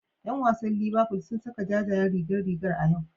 Yan wasan Liverful sun saka jajayen rigar rigar a yau.